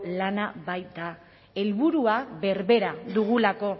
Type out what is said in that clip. lana baita helburua berbera dugulako